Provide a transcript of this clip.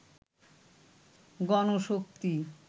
Ganashakti